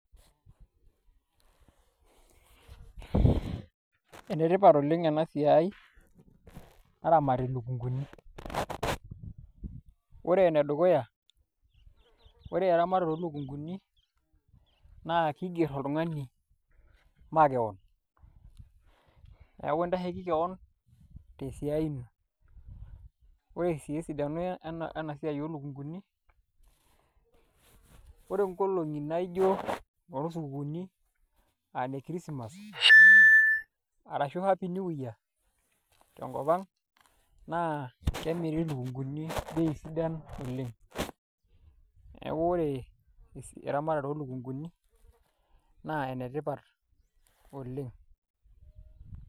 Enetipat oleng' ena siai naramati ilukunguni ore enedukuya ore eramatare oolukunguni naa kiigerr oltung'ani makeon neeku intasheiki keon tesiai ino ore sii esidano ena siai oolukunguni ore nkolong'i naa ijo inoosukuuni aa ine chrismass arashu happy new year tenkop ang' naa kemiri ilukunguni bei sidan oleng' , neeku ore eramatare oolukunguni naa enetipat oleng'.